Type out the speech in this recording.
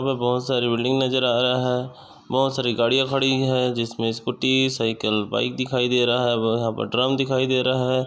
हमे बहुत सारी बिल्डिंग नजर आ रहा है। बहुत सारी गाड़िया खड़ी है। जिसमे स्कूटी साइकल बाइक दिखाई दे रहा है और यहा पर ड्रम दिखाई दे रहा है।